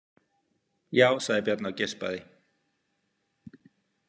Já, sagði Bjarni og geispaði.